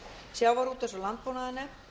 sjávarútvegs og landbúnaðarnefnd